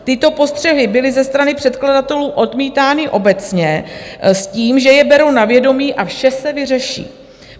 Tyto postřehy byly ze strany předkladatelů odmítány obecně s tím, že je berou na vědomí a vše se vyřeší.